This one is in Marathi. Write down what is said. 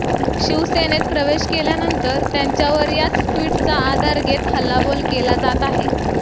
शिवसेनेत प्रवेश केल्यानंतर त्यांच्यावर याच ट्वीटचा आधार घेत हल्लाबोल केला जात आहे